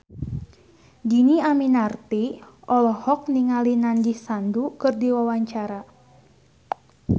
Dhini Aminarti olohok ningali Nandish Sandhu keur diwawancara